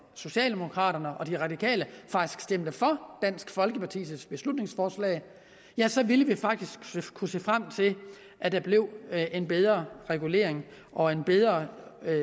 socialdemokraterne og de radikale faktisk stemte for dansk folkepartis beslutningsforslag ja så ville vi kunne se frem til at der blev en bedre regulering og en bedre